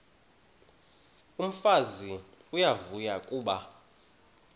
umfazi uyavuya kuba